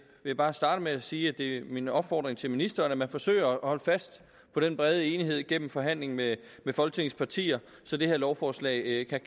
jeg bare starte med at sige at det er min opfordring til ministeren at man forsøger at holde fast på den brede enighed gennem forhandlingen med folketingets partier så det her lovforslag kan